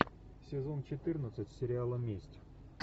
сезон четырнадцать сериала месть